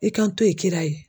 I ka n to ye kira ye.